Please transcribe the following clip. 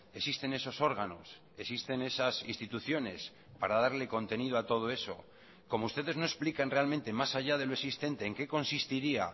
existen esos órganos existen esas instituciones para darle contenido a todo eso como ustedes no explican realmente más allá de lo existente en qué consistiría